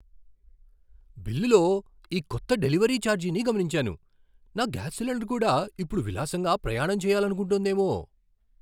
బిల్లులో ఈ కొత్త డెలివరీ ఛార్జీని గమనించాను. నా గ్యాస్ సిలిండర్ కూడా ఇప్పుడు విలాసంగా ప్రయాణం చెయ్యాలనుకుంటోందేమో!